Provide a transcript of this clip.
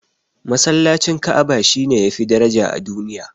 Masallacin Ka'aba shine yafi daraja a duniya